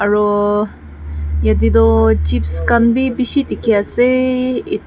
arooo yate toh chips khan bi bishi dikhi ase e--